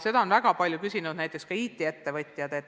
Seda on väga palju küsinud näiteks ka IT-ettevõtjad.